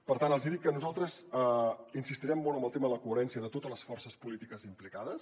per tant els hi dic que nosaltres insistirem molt en el tema de la coherència de totes les forces polítiques implicades